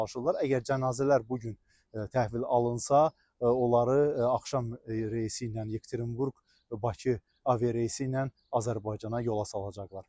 Əgər cənazələr bu gün təhvil alınsa, onları axşam reysi ilə Yekaterinburq-Bakı aviareysi ilə Azərbaycana yola salacaqlar.